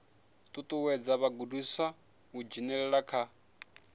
ṱuṱuwedza vhagudiswa u dzhenelela kha